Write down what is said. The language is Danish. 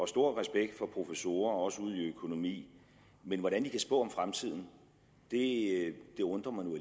stor respekt for professorer også ud i økonomi men hvordan de kan spå om fremtiden undrer mig nu